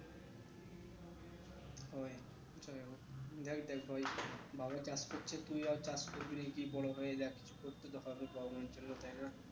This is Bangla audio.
যাক দেখ ভাই বাবা চাষ করছে তুই আর চাষ করবি কি বড়ো হয়ে দেখ